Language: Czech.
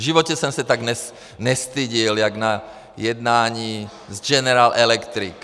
V životě jsem se tak nestyděl jako na jednání s General Electric.